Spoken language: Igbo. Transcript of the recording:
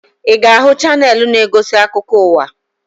Ị ga-ahụ chaneelụ na-egosi akụkọ ụwa?